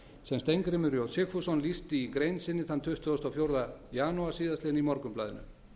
sem steingrímur j sigfússon lýsti í grein sinni þann tuttugasta og fjórða janúar síðastliðinn í morgunblaðinu